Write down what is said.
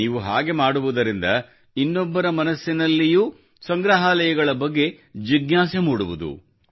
ನೀವು ಹಾಗೆ ಮಾಡುವುದರಿಂದ ಇನ್ನೊಬ್ಬರ ಮನಸ್ಸಿನಲ್ಲಿಯೂ ಸಂಗ್ರಹಾಲಯಗಳ ಬಗ್ಗೆ ಜಿಜ್ಞಾಸೆ ಮೂಡುವುದು